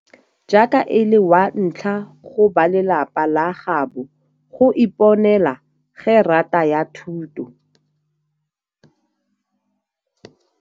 Jaaka e le wa ntlha go balelapa la gaabo go iponela gerata ya thuto.